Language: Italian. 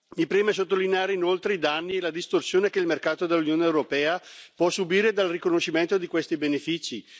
Mi preme sottolineare inoltre i danni e la distorsione che il mercato dell'Unione europea può subire dal riconoscimento di questi benefici.